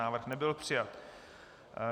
Návrh nebyl přijat.